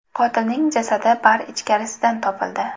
Qotilning jasadi bar ichkarisidan topildi.